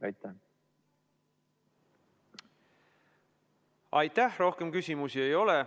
Aitäh, rohkem küsimusi ei ole.